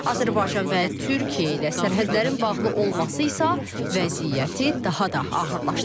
Azərbaycan və Türkiyə ilə sərhədlərin bağlı olması isə vəziyyəti daha da ağırlaşdırır.